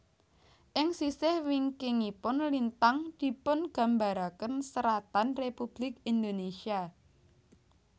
Ing sisih wingkingipun lintang dipungambaraken seratan Republik Indonesia